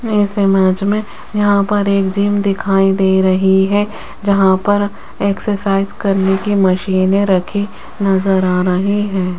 इस इमेज में यहां पर एक जिम दिखाई दे रही है जहां पर एक्सरसाइज करने की मशीनें रखी नजर आ रही हैं।